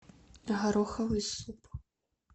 гороховый суп